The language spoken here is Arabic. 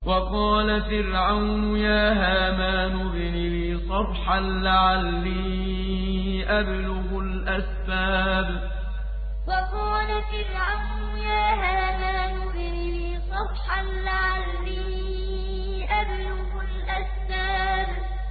وَقَالَ فِرْعَوْنُ يَا هَامَانُ ابْنِ لِي صَرْحًا لَّعَلِّي أَبْلُغُ الْأَسْبَابَ وَقَالَ فِرْعَوْنُ يَا هَامَانُ ابْنِ لِي صَرْحًا لَّعَلِّي أَبْلُغُ الْأَسْبَابَ